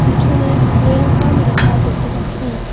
পিছনে ওয়েলকাম লিখা দেখতে পাচ্ছি।